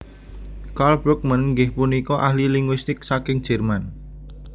Karl Brugmann inggih punika ahli linguistik saking Jerman